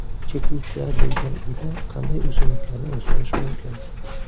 Chekuvchilar bo‘lgan uyda qanday o‘simliklarni o‘stirish mumkin?.